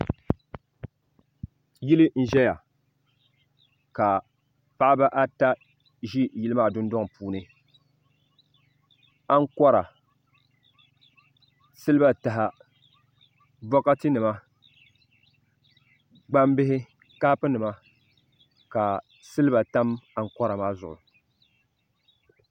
Yili n ʒɛya ka paɣaba ata ʒi yili maa dundoŋ puuni ankora siliba taha bokati nima gbambihi kapu nima ka siliba tam ankora maa zuŋu.